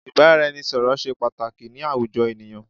Ìbáraẹnisọ̀rọ̀ ṣé pàtàkì ni àwùjọ ènìyàn.